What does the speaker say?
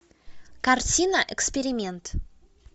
картина эксперимент